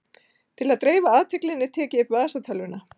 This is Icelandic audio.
Til að dreifa athyglinni tek ég upp vasatölvuna.